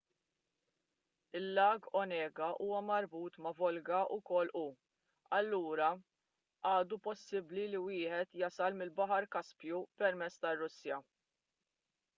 il-lag onega huwa marbut ma' volga wkoll u allura għadu possibbli li wieħed jasal mill-baħar kaspju permezz tar-russja